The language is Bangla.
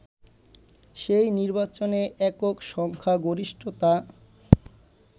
সেই নির্বাচনে একক সংখ্যাগরিষ্ঠতা